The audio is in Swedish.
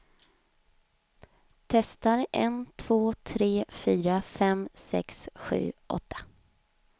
Testar en två tre fyra fem sex sju åtta.